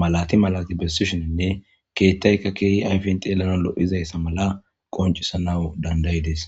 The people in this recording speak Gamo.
malati malati bessishinnne keettaykka keehi ayfin xeelana lo7izayssa mala qoncisanawu dandayides